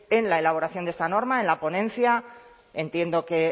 en la elaboración de esta norma en la ponencia entiendo que